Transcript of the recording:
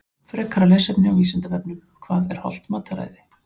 Frekara lesefni á Vísindavefnum Hvað er hollt mataræði?